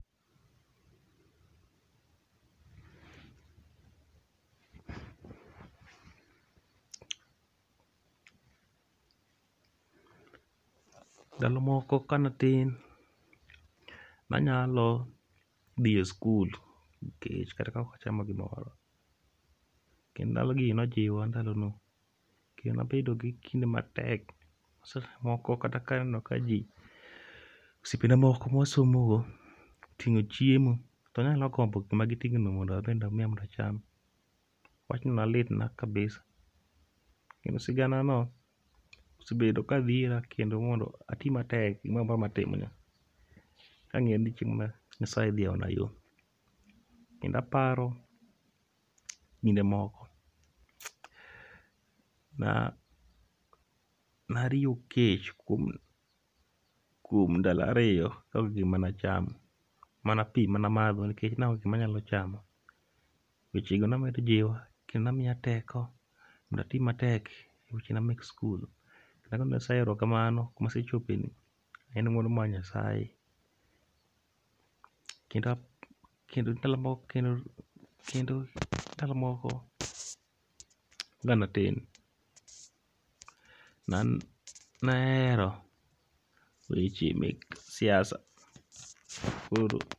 Ndalo moko kanatin, nanyalo dhi e skul gi kech kata ka okachamo gimoro. Kendo ndalo gi nojiwa ndalo go, kendo nabedo gi kinde matek. Seche moko kata kaneno ka ji osiepena moko mawasomo go oting'o chiemo, to nanyalo gombo gikma giting'o no mondo abende omiya mondacham. Wachno ne litna kabisa. Kendo sigana no osebedo ka dhira kendo mondo ati matek gimoramora matimga. Kang'eyo ni chieng' moro Nyasaye dhi yaona yo. Kenda paro kinde moko na nariyo kech kuom, kuom ndala riyo ka onge gima nachamo. Mana pi mana madho nikech naonge gik manyalo chamo. To wechego ne medo jiwa kendo nemiya teko mondo ati matek e wechena mek skul. To mano nasehero kamano, kumasechope ni en ng'uono mar Nyasaye. Kendo ap, kendo ndalo mok, kendo ndalo moko ka natin, na an nahero weche mek siasa, koro.